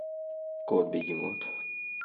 кот бегемот